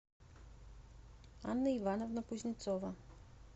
анна ивановна кузнецова